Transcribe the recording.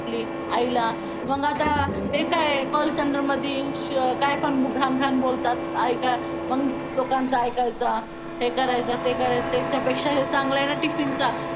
आपली आईला मग आता call सेंटर मध्ये काय पण घाण घाण बोलतात अन लोकांच ऐकायचंहे करायचं ते करायचं त्या पेक्षा हे चांगलं आहे अन tiffin चा